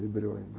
E breu ainda.